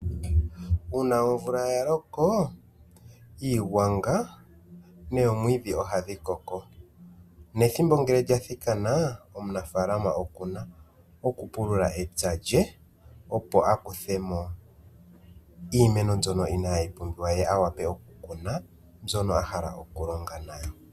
Uuna omvula ya loko iigwanga nomwiidhi ohayi koko nethimbo ngele lya thikana omunafalama okuna okupulula epya lye opo a kuthemo iimeno mbyono inayi pumbiwa ye a wape okukuna mbyono a hala okulonga nayo.